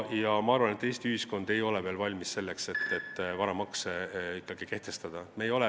Ma arvan, et Eesti ühiskond ei ole veel valmis selleks, et varamakse kehtestada.